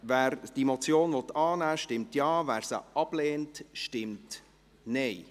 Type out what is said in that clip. Wer die Motion annehmen will, stimmt Ja, wer diese ablehnt, stimmt Nein.